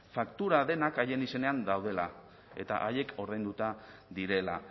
faktura denak haien izenean daudela eta haiek ordainduta direla